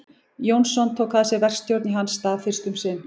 Jónsson tók að sér verkstjórn í hans stað fyrst um sinn.